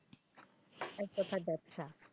এক কোথায় ব্যবসা,